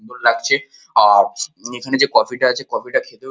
লাগছে আর এখানে যে কফি -টা আছে কফি -টা খেতেও--